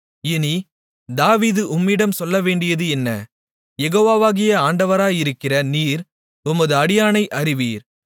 இனி தாவீது உம்மிடம் சொல்லவேண்டியது என்ன யெகோவாவாகிய ஆண்டவராயிருக்கிற நீர் உமது அடியானை அறிவீர்